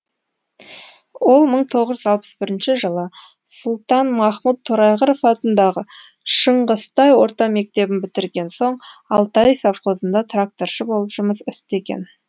ол мың тоғыз жүз алпыс бірінші жылы сұлтанмахмұт торайғыров атындағы шыңғыстай орта мектебін бітірген соң алтай совхозында тракторшы болып жұмыс істеген